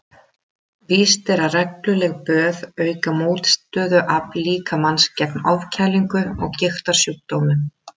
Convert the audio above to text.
Víst er að regluleg böð auka mótstöðuafl líkamans gegn ofkælingu og gigtarsjúkdómum.